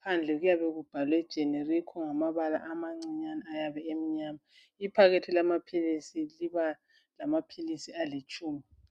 Phandle kuyabe kubhalwe Generico ngamabala amancinyane ayabe emnyama. Iphakethe lamaphilisi liba lamaphilisi alitshumi.